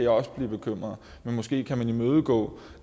også blive bekymret men måske kan man imødegå